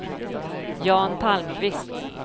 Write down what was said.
Jan Palmqvist